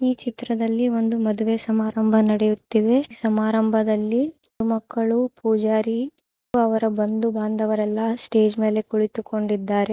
ಈ ಚಿತ್ರದಲ್ಲಿ ಒಂದು ಮದುವೆ ಸಮಾರಂಭ ನಡೆಯುತ್ತಿವೆ ಸಮಾರಂಭದಲ್ಲಿ ಮಕ್ಕಳು ಪೂಜಾರಿ ಹಾಗೂ ಅವರ ಬಂಧು ಬಾಂಧವರೆಲ್ಲ ಸ್ಟೇಜ್ ಮೇಲೆ ಕುಳಿತುಕೊಂಡಿದ್ದಾರೆ.